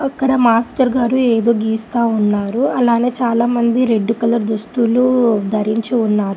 అక్కడ మాస్టర్ గారు ఏదో గీస్తా ఉన్నారు అలానే చాలామంది రెడ్ కలర్ దుస్తులు ధరించి ఉన్నారు.